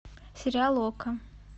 сериал окко